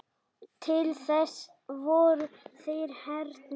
Til þess voru þeir hérna.